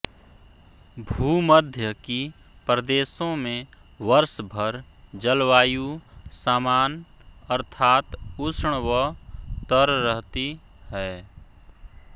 भूमध्य की प्रदेशों में वर्ष भर जलवायु सामान अर्थात उष्ण व तर रहती है